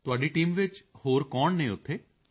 ਤੁਹਾਡੀ ਟੀਮ ਵਿੱਚ ਹੋਰ ਕੌਣ ਹਨ ਉੱਥੇ